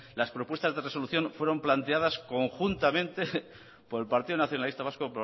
las propuestas de resolución fueron planteadas conjuntamente por el partido nacionalista vasco